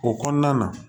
O kɔnɔna na